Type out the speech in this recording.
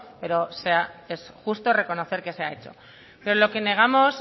pero es justo reconocer que se ha hecho pero lo que negamos